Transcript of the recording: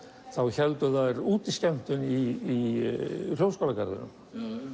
héldu þær í Hljómskálagarðinum